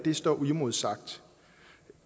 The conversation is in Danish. i står uimodsagt